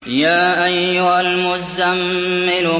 يَا أَيُّهَا الْمُزَّمِّلُ